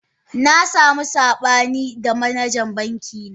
Na samu sabani da manajan bankina